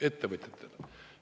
Ettevõtjatele!